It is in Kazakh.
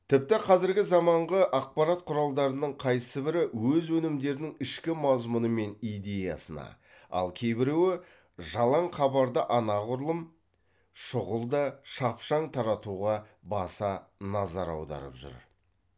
тіпті қазіргі заманғы ақпарат құралдарының қайсыбірі өз өнімдерінің ішкі мазмұны мен идеясына ал кейбіреуі жалаң хабарды анағұрлым шұғыл да шапшаң таратуға баса назар аударып жүр